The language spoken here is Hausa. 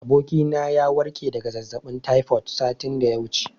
Abokina ya warke daga zazzaɓin taifod satin da ya wuce.